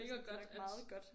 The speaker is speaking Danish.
Det nok meget godt